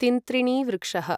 तिन्त्रिणीवृक्षः